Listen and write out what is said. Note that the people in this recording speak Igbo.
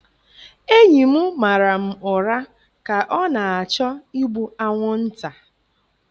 Enyi m mara m ụra ka ọ na-achọ igbu anwụnta.